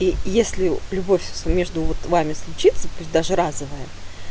и если любовь с между вами вот случится пусть даже разовая